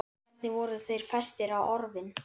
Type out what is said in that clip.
Hvernig voru þeir festir á orfin?